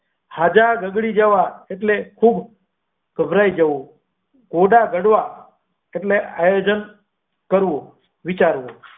હજ બગાડી જવા એટલે ખુબ ગભરાઈ જવું થોડા ગાળવા એટલે આયોજન કરવું વિચારવું.